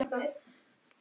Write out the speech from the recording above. Þar málum við líka egg.